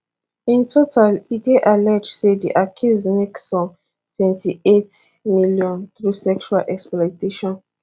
in total e dey alleged say di accused make some twenty eight miliion through sexual exploitation